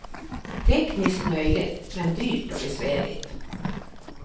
Tekniskt möjligt men dyrt och besvärligt.